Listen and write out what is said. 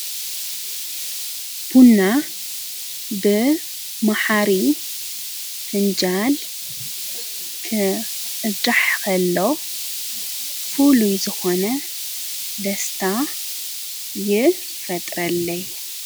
ቡና ብ መሓሪ ፍንጃል ክቕዳሕ ኸሎ ፉሉይ ዝኾነ ደስታ ይፈጥረለይ።